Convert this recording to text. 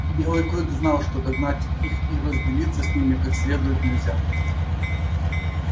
белый клык знал что догнать их и разделаться с ними как следует нельзя